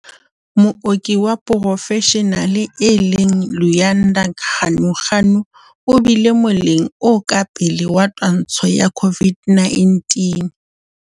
Mooki wa porofeshenale e leng Luyanda Ganuganu o bile moleng o ka pele wa twantsho ya COVID-19